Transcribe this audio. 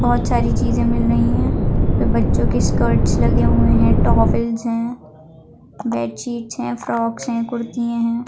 बहुत सारी चिजे मिल रही है बच्चों के स्कर्ट्स लगे हुए है टॉवेल्स है बेडशिट्स है फ्रॉक्स है कुर्तिया है।